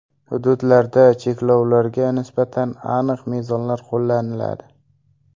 Hududlarda cheklovlarga nisbatan aniq mezonlar qo‘llaniladi.